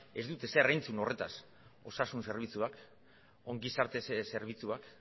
ez dut ezer entzun horretaz osasun zerbitzuan ongizate zerbitzuak